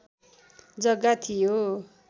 जग्गा थियो